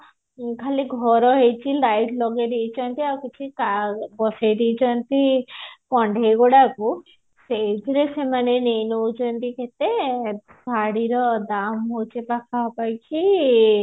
ଖାଲି ଘର ହେଇଛି ଖାଲି light ଲଗେଇ ଦେଇଛନ୍ତି ଆଉ କିଛି କା ବସେଇ ଦେଇଛନ୍ତି କଣ୍ଢେଇ ଗୁଡାକୁ ସେଇଥିରେ ସେମାନେ ନେଇ ନଉଛନ୍ତି କେତେ ଶାଢୀ ର ଦାମ ହଉଛି ପାଖାପାଖି